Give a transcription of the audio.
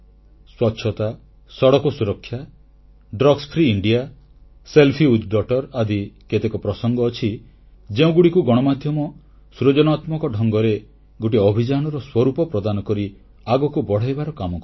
ସ୍ୱଚ୍ଛତା ସଡ଼କ ସୁରକ୍ଷା ନିଶାମୁକ୍ତ ଭାରତ ଝିଅ ସହ ସେଲଫି ଆଦି କେତେକ ପ୍ରସଙ୍ଗ ଅଛି ଯେଉଁଗୁଡ଼ିକୁ ଗଣମାଧ୍ୟମ ସୃଜନାତ୍ମକ ଢଙ୍ଗରେ ଗୋଟିଏ ଅଭିଯାନର ସ୍ୱରୂପ ପ୍ରଦାନ କରି ଆଗକୁ ବଢ଼ାଇବାର କାମ କରିଛି